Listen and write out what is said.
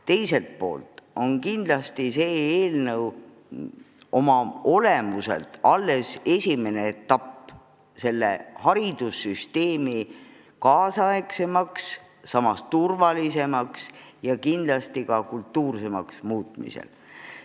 Teiselt poolt on see eelnõu oma olemuselt alles esimene etapp haridussüsteemi kaasaegsemaks, samas turvalisemaks ja kindlasti ka kultuursemaks muutmisel.